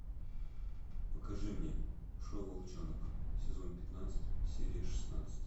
покажи мне шоу волчонок сезон пятнадцать серия шестнадцать